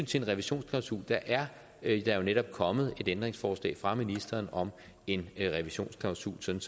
til en revisionsklausul er der jo netop kommet et ændringsforslag fra ministeren om en revisionsklausul sådan